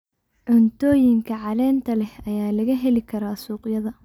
Cuntooyinka caleenta leh ayaa laga heli karaa suuqyada.